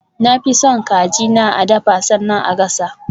Na fi son kaji na a dafa sannan a gasa.